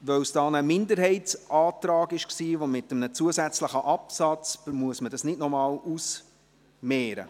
Weil es sich um einen Minderheitsantrag mit einem zusätzlichen Absatz handelt, muss man dies nicht noch ausmehren.